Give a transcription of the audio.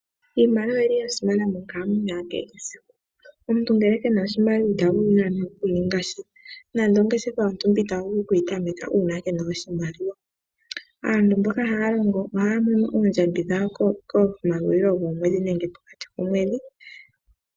Iimaliwa oya simana monkalamwenyo yakehe esiku. Omuntu ngele ke na oshimaliwa ita vulu nande okuninga sha, nande ongeshefa yontumba ita vulu okuyi tameka kee na oshimaliwa . Aantu mboka haya longo ohaya mono oondjambi dhawo komahulilo gomwedhi nenge pokati komwedhi.